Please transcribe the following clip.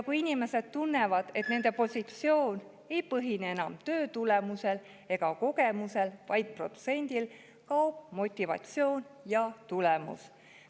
Kui inimesed tunnevad, et nende positsioon ei põhine enam töötulemusel ega kogemusel, vaid protsendil, kaob motivatsioon ja tulemus.